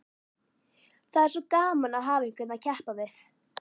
Það er svo gaman að hafa einhvern að keppa við.